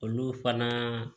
Olu fana